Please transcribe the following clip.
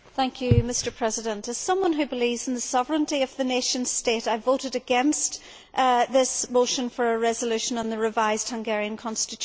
Mr President, as someone who believes in the sovereignty of the nation state, I voted against this motion for a resolution on the revised Hungarian constitution.